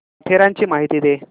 माथेरानची माहिती दे